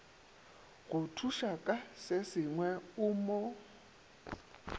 go thušaka sesengwe o mo